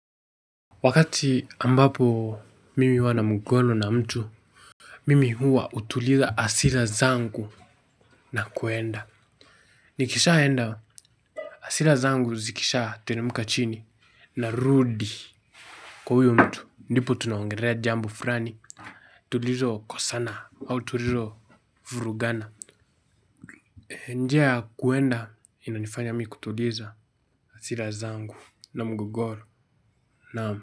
Wakati ambapo mimi huwa na mgogoro na mtu mimi huwa utuliza asira zangu na kwenda. Nikishaenda asira zangu zikishaa teremka chini narudi. Kwa huyo mtu ndipo tunaongerea jambo furani tulizokosana au tulilo Vurugana. Njia ya kuenda inanifanya mi kutuliza asira zangu na mgogoro naam.